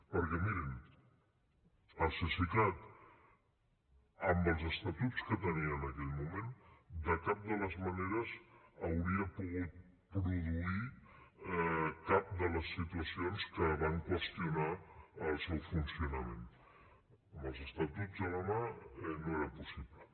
perquè mirin el cesicat amb els estatuts que tenia en aquell moment de cap de les maneres hauria pogut produir cap de les situacions que van qüestionar el seu funcionament amb els estatuts a la mà no era possible